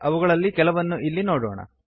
ಅವುಗಳಲ್ಲಿ ಕೆಲವನ್ನು ಇಲ್ಲಿ ನೋಡೋಣ